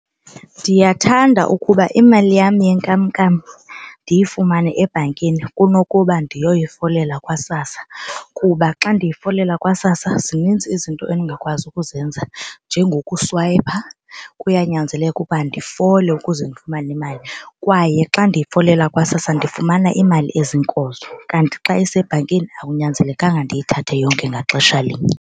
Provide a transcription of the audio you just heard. Ndiyathanda ukuba imali yam yenkamnkam ndiyifumane ebhankini kunokuba ndiyoyifolela kwaSASSA kuba xa ndiyifolela kwaSASSA zininzi izinto endingakwazi ukuzenza njengokuswayipha kuyanyanzeleka ukuba ndifole ukuze ndifumane imali. Kwaye xa ndiyifolela kwaSASSA ndifumana imali ezinkozo kanti xa isebhankini akunyanzelekanga ndiyithathe yonke ngaxesha linye.